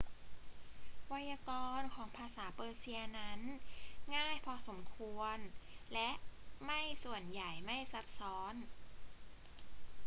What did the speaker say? ไวยากรณ์ของภาษาเปอร์เซียนั้นง่ายพอสมควรและไม่ส่วนใหญ่ไม่ซับซ้อน